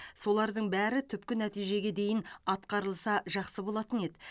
солардың бәрі түпкі нәтижеге дейін атқарылса жақсы болатын еді